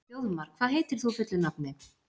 Þjóðmar, hvað heitir þú fullu nafni?